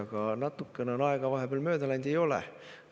Aga natukene on aega vahepeal mööda läinud – ei ole.